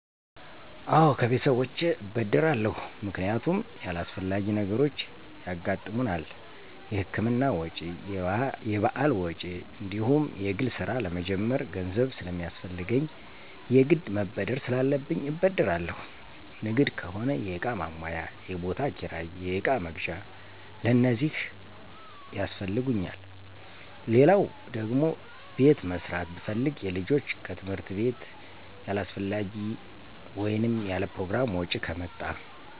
አወ ከቤተሰቦቸ እበደራለሁ ምክንያቱም ያላሥፈላጊ ነገሮች ያገሠጥሙናል የህክምና ወጭ፣ የባህል ወጭ፣ እንዲሁም የግል ስራ ለመጀመር ገንዘብ ስለሚያስፈለሰገኝ የግድ መበደር ስላለብኝ እበደራለሁ። ንግድ ከሆነ የእቃ ማሟያ፣ የቦታ ክራይ፣ የእቃ መግዣ፣ ለእነዚህ ያሥፈልጉኛል። ሌለው ደግሟ ቤት መሦራት ብፈልግ፣ የልጆች ከትምህርት ቤትያላሥፈላጊ ወይንም ያለፕሮግራም ወጭ ከመጣ።